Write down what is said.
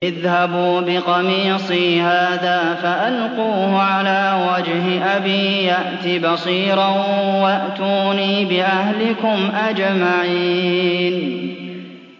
اذْهَبُوا بِقَمِيصِي هَٰذَا فَأَلْقُوهُ عَلَىٰ وَجْهِ أَبِي يَأْتِ بَصِيرًا وَأْتُونِي بِأَهْلِكُمْ أَجْمَعِينَ